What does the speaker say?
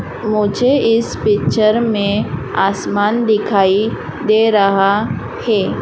मुझे इस पिक्चर में आसमान दिखाई दे रहा है।